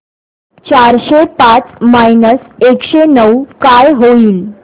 चारशे पाच मायनस एकशे नऊ काय होईल